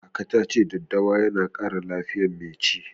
Kaka ta ce daddawa yana ƙara lafiyar mai ci.